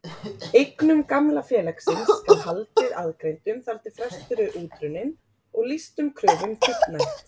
Eignum gamla félagsins skal haldið aðgreindum þar til frestur er útrunninn og lýstum kröfum fullnægt.